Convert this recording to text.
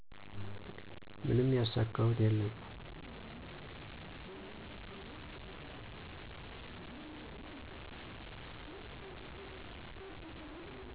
ምንም ያሳካሁት የለም